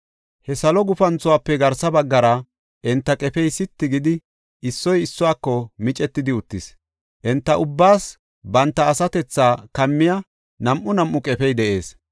He salo gufanthuwafe garsa baggara enta qefey sitti gidi, issoy issuwako micetidi uttis. Enta ubbaas banta asatethaa kammiya nam7u nam7u qefey de7ees.